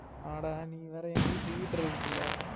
அட நீ வேற எங்க வீட்டு heater இருக்குல